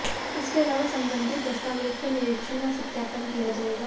इसके अलावा संबंधित दस्तावेज का निरीक्षण व सत्यापन किया जाएगा